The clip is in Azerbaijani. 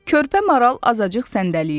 Körpə maral azacıq səndələyirdi.